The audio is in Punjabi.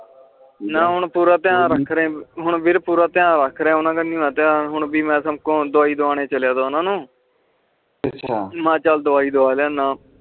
ਹਨ ਹੁਣ ਪੂਰਾ ਧਯਾਨ ਰੱਖ ਰੇਅ ਹੁਣ ਵੀਰ ਪੂਰਾ ਧਯਾਨ ਰੱਖ ਰਿਯਾ ਆਂ ਓਹਨਾ ਕਾਨਿਆ ਆ ਹੁਣ ਦਵਾਈ ਦਵਾਂ ਏ ਚਲਿਆ ਸੀ ਓਹਨਾ ਨੂੰ ਵੀ ਮੈ ਚੱਲ ਦਵਾਈ ਦਵਾ ਲੈਣਾ ਆ